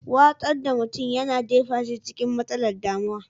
Watsar da mutum yana jefa shi cikin matsalar damuwar.